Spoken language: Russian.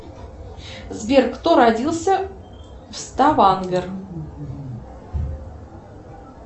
сбер кто родился в ставангер